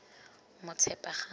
motshepagang